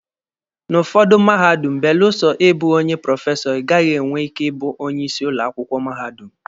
N'ụfọdụ mahadum, belụsọ ịbụ onye prọfesọ, ịgaghị enwe ike ịbụ onye isi ụlọ akwụkwọ mahadum.